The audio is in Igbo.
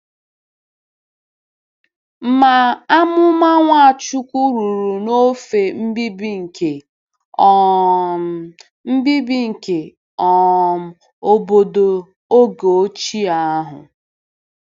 Ma amụma Nwachukwu ruru n'ofe mbibi nke um mbibi nke um obodo oge ochie ahụ.